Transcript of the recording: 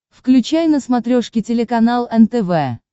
включай на смотрешке телеканал нтв